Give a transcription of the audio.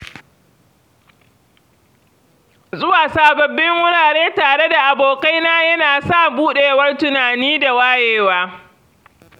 Zuwa sababbin wurare tare da abokaina yana sa buɗewar tunani da wayewa